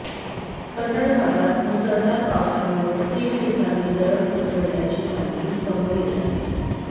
कन्नड भागात मुसळधार पावसामुळं तीन ठिकाणी दरड कोसळल्याची माहिती समोर येत आहे